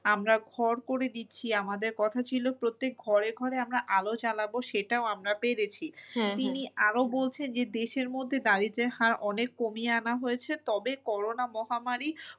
আমরা ঘর করে দিচ্ছি আমাদের কথা ছিল প্রত্যেক ঘরে ঘরে আমরা আলো জ্বালাবো সেটাও আমরা পেরেছি। তিনি আরো বলছে যে দেশের মধ্যে দারিদ্রের হার অনেক কমিয়ে আনা হয়েছে তবে করোনা মহামারী